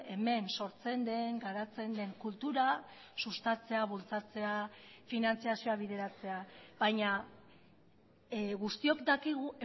hemen sortzen den garatzen den kultura sustatzea bultzatzea finantzazioa bideratzea baina guztiok dakigu